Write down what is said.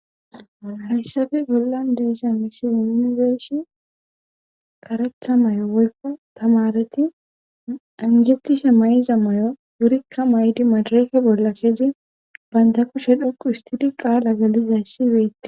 Hayssabe bolla deesa misi yuunibeshin karetha may'o woykko tamareti injetishe may'iza may'o wurikka maydi madreke bolla kezi baynda kushe dhoqu istidi qaala galizayssi weette..